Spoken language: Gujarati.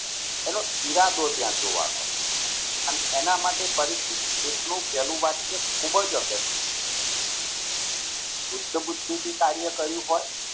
એનો ઈરાદો ત્યાં જોવાનો છે. અને એના માટે પરિશિષ્ટ નું પહેલું વાક્ય ખુબ જ અગત્યનું શુષ્ટ બુદ્ધિથી કાર્ય કર્યું હોય